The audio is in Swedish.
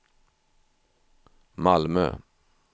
Malmö